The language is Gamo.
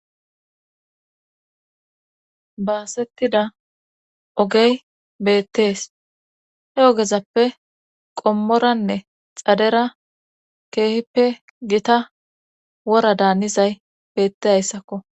Baasettida ogey beettees he ogezappe qommoranne xadera keehippe gita wora daanizay beettehayssakko.